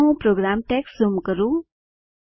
ચાલો હું program text zoom કરું